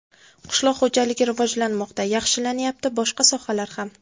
Qishloq xo‘jaligi rivojlanmoqda, yaxshilanyapti, boshqa sohalari ham.